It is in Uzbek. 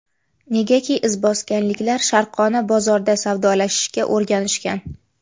Negaki, izboskanliklar sharqona bozorda savdolashishga o‘rganishgan.